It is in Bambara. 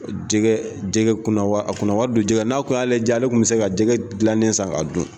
Jɛgɛ jɛgɛ kunna a kunna wari don jɛgɛ n'a kun y'ale ja ale tun bɛ se ka jɛgɛ dilannen san k'a dun